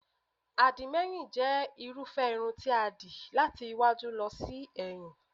Àdìmẹ́yìn jẹ́ irúfẹ́ irun ti a dì láti iwájú lọ sí ẹ̀yìn